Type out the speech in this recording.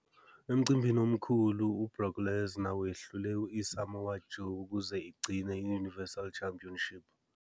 Emcimbini omkhulu, u- Brock Lesnar wehlule i- Samoa Joe ukuze igcine i- Universal Championship.